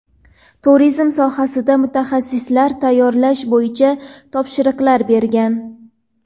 turizm sohasida mutaxassislar tayyorlash bo‘yicha topshiriqlar bergan.